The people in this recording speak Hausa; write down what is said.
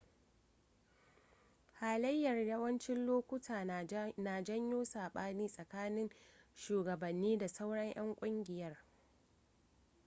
halayyar yawancin lokuta na janyo saɓani tsakanin shugabanni da sauran 'yan kungiyar